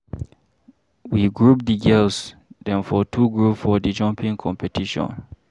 We group di girls dem for two group for di jumping competition.